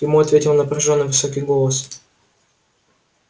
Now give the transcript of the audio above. ему ответил напряжённый высокий голос